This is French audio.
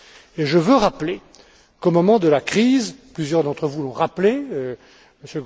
Et je veux rappeler qu'au moment de la crise, plusieurs d'entre vous l'ont rappelé, M.